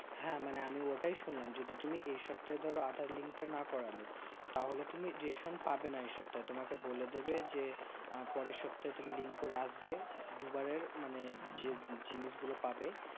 হ্যাঁ মানে আমি ওটাই শুনলাম যদি তুমি এই সপ্তাহের ধরো aadhar link তা না করলে তাহলে তুমি রেশম পাবেন এই সপ্তাহে তোমাকে বলে দিবে যে আঃ পরের সপ্তাহে তুমি link করে আসবে দুবারের মানে যে জিনিস গুলো পাবে